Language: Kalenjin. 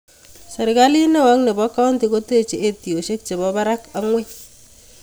Serkali neo ak nebo kaunti kotech etiosiek chebo barak ak ngweny